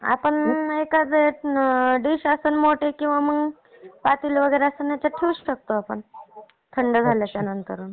आपण एखादी डिश असेल मोठी किंवा पातेले वगैरे असेल याच्यात ठेवू शकतो आपण. थंड झाल्याच्या नंतर.